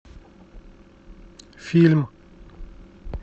фильм